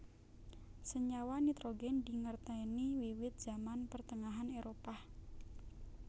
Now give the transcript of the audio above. Senyawa nitrogèn dingertèni wiwit Zaman Pertengahan Éropah